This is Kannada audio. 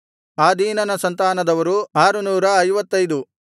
ಆದೀನನ ಸಂತಾನದವರು 655